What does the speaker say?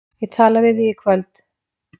Ég tala við þig í kvöld